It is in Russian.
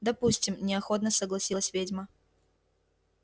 допустим неохотно согласилась ведьма